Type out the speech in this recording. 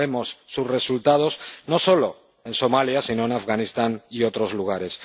Los vemos, sus resultados, no solo en Somalia sino en Afganistán y otros lugares.